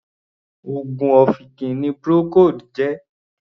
Oògùn ọ̀fìnkì ni Procold jẹ́.